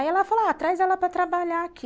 Aí ela falou, ó, traz ela para trabalhar aqui.